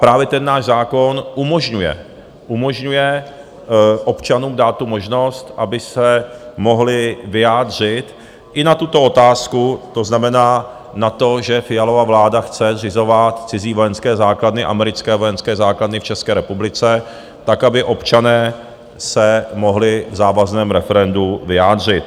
Právě ten náš zákon umožňuje občanům dát tu možnost, aby se mohli vyjádřit i na tuto otázku, to znamená na to, že Fialova vláda chce zřizovat cizí vojenské základny, americké vojenské základny, v České republice, tak aby občané se mohli v závazném referendu vyjádřit.